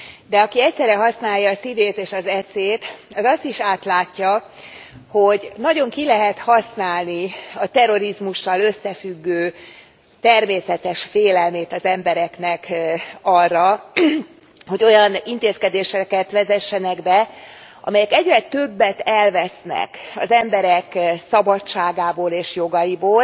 De aki egyszerre használja a szívét és az eszét, az azt is átlátja, hogy nagyon ki lehet használni a terrorizmussal összefüggő természetes félelmét az embereknek arra, hogy olyan intézkedéseket vezessenek be, amelyek egyre többet elvesznek az emberek szabadságából és jogaiból,